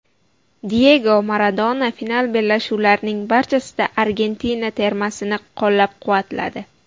Diyego Maradona final bellashuvlarining barchasida Argentina termasini qo‘llab-quvvatladi.